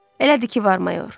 Elədir ki var, mayor.